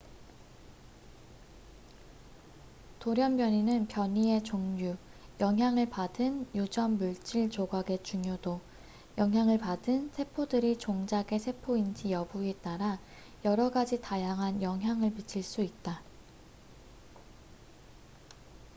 돌연변이는 변이의 종류 영향을 받은 유전 물질 조각의 중요도 영향을 받은 세포들이 종자계 세포인지 여부에 따라 여러 가지 다양한 영향을 미칠 수 있다